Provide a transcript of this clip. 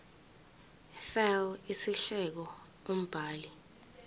fal isihloko umbhali